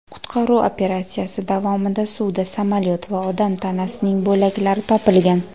Qutqaruv operatsiyasi davomida suvda samolyot va odam tanasining bo‘laklari topilgan.